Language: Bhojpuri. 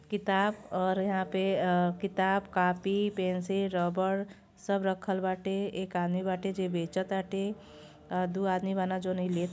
किताब और यहां पे आ किताब कॉपी पेंसिल रबर सब रखल बाटे एक आदमी बाटे जे बेचत आटे और दू आदमी बना जोन इ लेत --